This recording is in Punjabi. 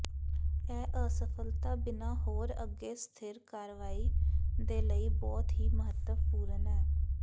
ਇਹ ਅਸਫਲਤਾ ਬਿਨਾ ਹੋਰ ਅੱਗੇ ਸਥਿਰ ਕਾਰਵਾਈ ਦੇ ਲਈ ਬਹੁਤ ਹੀ ਮਹੱਤਵਪੂਰਨ ਹੈ